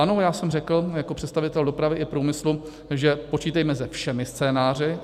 Ano, já jsem řekl jako představitel dopravy i průmyslu, že počítejme se všemi scénáři.